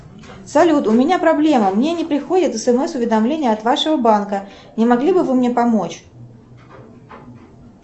салют у меня проблема мне не приходят смс уведомления от вашего банка не могли бы вы мне помочь